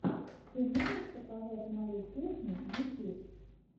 ты можешь показать мою кухню ютьюб